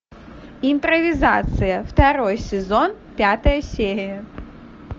импровизация второй сезон пятая серия